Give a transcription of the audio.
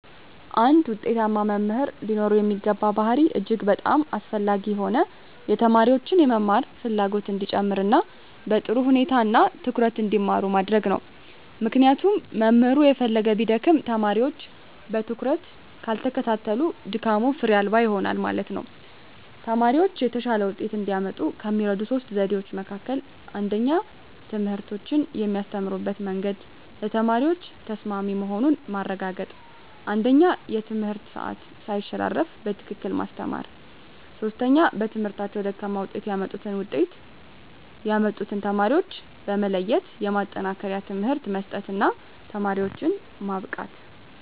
አንድ ውጤታማ መምህር ሊኖረው የሚገባ ባሀሪ እጅግ በጣም አስፈላጊ የሆነው የተማሪዎችን የመማር ፍላጎት እንዲጨመር እና በጥሩ ሁኔታ እና ትኩረት እንዲማሩ ማድረግ ነው ምክንያቱም መምህሩ የፈለገ ቢደክም ተማሪወች በትኩረት ካልተከታተሉት ድካሙ ፋሬ አልባ ይሆናል ማለት ነው። ተማሪወች የተሻለ ወጤት እንዲያመጡ ከሚረዱ 3 ዘዴዎች መካከል 1ኛ ትምህርቶችን የሚያስተምሩበት መንግድ ለተማሪዎች ተሰማሚ መሆኑን ማረጋገጥ 1ኛ የትምህርት ሰአት ሳይሸራረፉ በትክክል ማስተማር 3ኛ በትምህርታቸው ደካማ ውጤት ያመጡትን ውጤት ያመጡትን ተማሪዎች በመለየት የማጠናከሪያ ትምህርት መስጠት እና ተማሪዎችን ማብቃት።